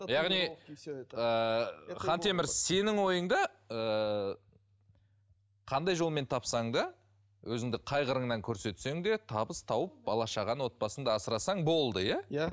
яғни ыыы хантемір сенің ойыңда ыыы қандай жолмен тапсаң да өзіңді қай қырынан көрсетсең де табыс тауып бала шаға отбасыңды асырасаң болды иә иә